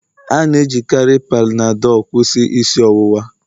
A na-ejikarị Panadol kwụsị isi ọwụwa